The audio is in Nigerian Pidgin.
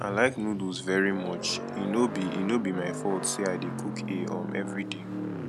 i like noodles very much e no be e no be my fault say i dey cook a um everyday